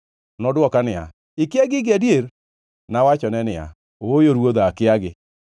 Nodwoka niya, “Ikia gigi adier?” Nawachone niya, “Ooyo ruodha, akiagi.”